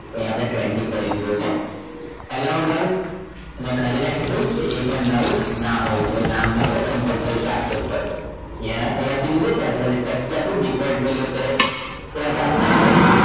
તો અહીંયા આપણે twenty કરી દઈએ છીએ allow done અને કરી નાખીશું એ પણ done નામ હોવું જોઈએ નામ આપણે compulsory થી આપવુ જ પડશે અહીંયા થી ત્યાંથી default value અત્યારે તો આપણે આપતા નથી